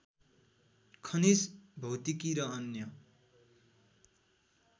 खनिज भौतिकी र अन्य